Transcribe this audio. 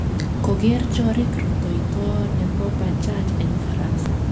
Koger choriik rutoito nebo bajaji eng Ufaransa